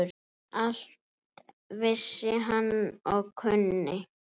Allt vissi hann og kunni.